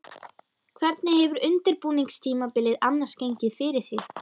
Hvernig hefur undirbúningstímabilið annars gengið fyrir sig?